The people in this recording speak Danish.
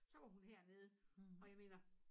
Så var hun hernede og jeg mener